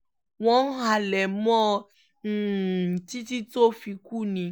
wọ́n halẹ̀ mọ́ ọn um títí tó fi kú ni